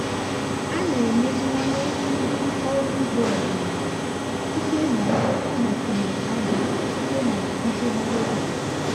a na-emeziwanye ndị ọrụ ugbo ọdịnala site na ịgbakwụnye ájá site na ntụgharị oge.